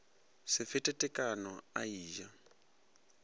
se fete tekano a eja